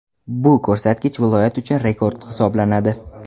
Bu ko‘rsatkich viloyat uchun rekord hisoblanadi.